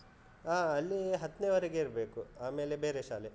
ಹಾ ಅಲ್ಲಿ ಹತ್ನೆವರಗೆ ಇರ್ಬೇಕು, ಆಮೇಲೆ ಬೇರೆ ಶಾಲೆ.